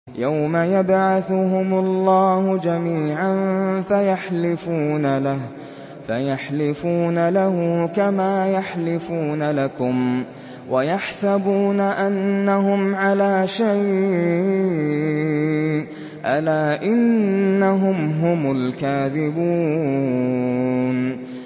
يَوْمَ يَبْعَثُهُمُ اللَّهُ جَمِيعًا فَيَحْلِفُونَ لَهُ كَمَا يَحْلِفُونَ لَكُمْ ۖ وَيَحْسَبُونَ أَنَّهُمْ عَلَىٰ شَيْءٍ ۚ أَلَا إِنَّهُمْ هُمُ الْكَاذِبُونَ